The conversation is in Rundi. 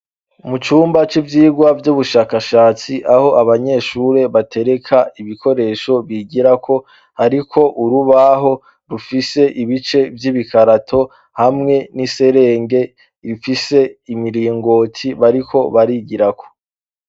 Mu cumba c'ivyirwa vy'ubushakashatsi aho abanyeshure batereka ibikoresho bigirako, ariko urubaho rufise ibice vy'ibikarato hamwe n'iserenge rifise imiringoti bariko barigirako.